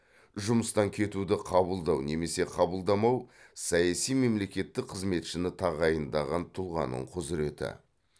жұмыстан кетуді қабылдау немесе қабылдамау саяси мемлекеттік қызметшіні тағайындаған тұлғаның құзіреті